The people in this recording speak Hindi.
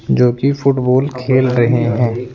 जो की फुटबॉल खेल रहे हैं।